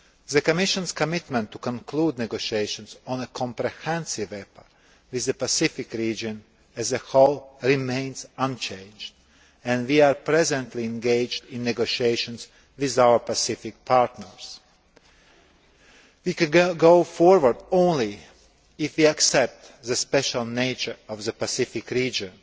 The Commission's commitment to concluding negotiations on a comprehensive EPA with the Pacific region as a whole remains unchanged and we are currently engaged in negotiations with our Pacific partners. We can go forward only if we accept the special nature of the Pacific region